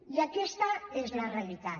i aquesta és la realitat